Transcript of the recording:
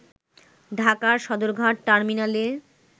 ঢাকার সদরঘাট টার্মিনালে